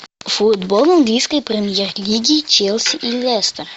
футбол английской премьер лиги челси и лестер